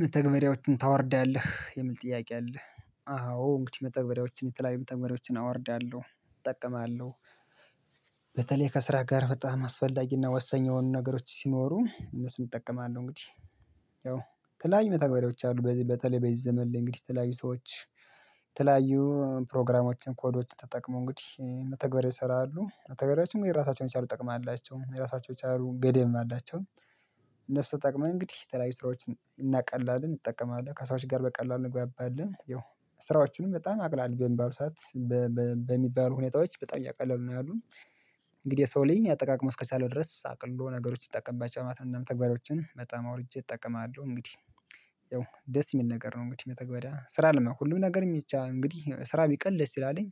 መተግበሪያዎችን ታወርዳለህ የሚል ጥያቄ አለ? አዎ እንግዲህ መተግበሪያዎችን የተለያየ መተግበሪያዎችን አወርዳለሁ እጠቀማለሁ። በተለይ ከስራ ጋር በጣም አስፈላጊና ወሰኝ የሆኑ ነገሮች ሲኖሩ እነሱን እጠቀማለሁ እንግዲህ። ያው የተለያዩ መተግበሪያዎች አሉ በዚህ በተለይ በዚህ ዘመን ላይ እንግዲህ የተለያዩ ሰዎች የተለያዩ ፕሮግራሞችን ኮዶችን ተጠቅሞ እንግዲህ መተግበር ይሰራሉ መተግበሪያዎችም ግን የራሳቸውን የቻሉ ጥቅም የራሳቸውን የቻሉ ገደብም አላቸው። እነሱ ተጠቅመን እንግዲህ የተለያይ ስራዎችን እናቀላለን እንጠቀማለን ከሰዎች ጋር በቀላሉ እንግባባለን። ያው ስራዎችንም በጣም አቅላሊ በሚባሉ ሰዓት በሚባሉ ሁኔታዎች በጣም እያቀለሉ ነው ያሉ። እንግዲህ የሰው ልይ አጠቃቀሙን እስከቻለው ድረስ አቅልሎ ነገሮች ይጠቀማቸዋል ማለት ነው። መተግበሪያዋችን በጣም አውርጄ እጠቀማለሁ እንግዲህ። ያው ደስ የሚል ነገር ነው እንግዲህ መተግበሪያ ስራ አለማውቅ ሁሉም ነገር የሚቻ እንግዲህ ስራ ቢቀል ደስ ይላልኝ።